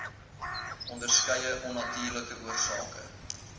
onderskeie onnatuurlike oorsake